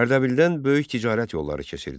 Ərdəbildən böyük ticarət yolları keçirdi.